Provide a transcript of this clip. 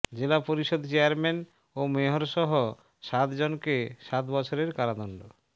জেলা পরিষদ চেয়ারম্যান ও মেয়রসহ সাত জনকে সাত বছরের কারাদণ্ড